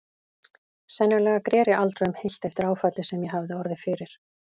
Sennilega greri aldrei um heilt eftir áfallið sem ég hafði orðið fyrir.